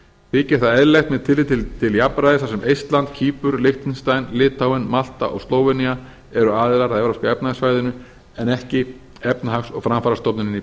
þykir það eðlilegt með tilliti til jafnræðis þar sem eistland kýpur liechtenstein litháen malta og slóvenía eru aðilar að evrópska efnahagssvæðinu en ekki efnahags og framfarastofnunin í